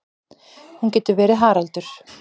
Hún getur verið Haraldur